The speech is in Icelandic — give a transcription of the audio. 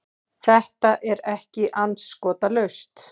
Það var ekki andskotalaust.